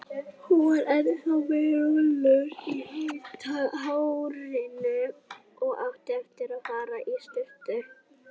Hún var ennþá með rúllur í hárinu og átti eftir að fara í sturtu.